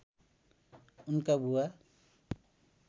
उनका बुबा